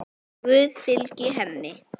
Guð fylgi henni.